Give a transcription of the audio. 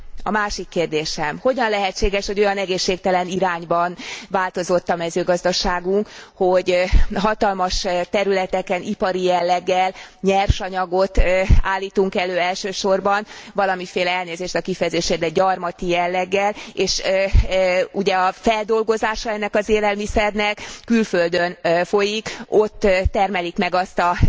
A másik kérdésem hogyan lehetséges, hogy olyan egészségtelen irányban változott a mezőgazdaságunk, hogy hatalmas területeken ipari jelleggel nyersanyagot állítunk elő, elsősorban valamiféle elnézést a kifejezésért, de gyarmati jelleggel, és ugye a feldolgozása ennek az élelmiszernek külföldön folyik, ott termelik meg azt a